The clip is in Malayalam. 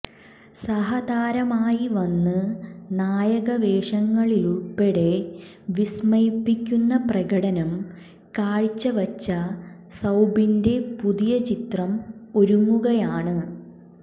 സഹതാരമായി വന്ന് നായക വേഷങ്ങളിലുള്പ്പെടെ വിസ്മയിപ്പിക്കുന്ന പ്രകടനം കാഴ്ചവച്ച സൌബിന്റെ പുതിയ ചിത്രം ഒരുങ്ങുകയാണ്